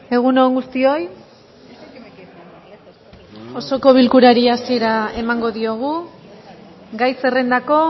egun on guztioi osoko bilkurari hasiera emango diogu gai zerrendako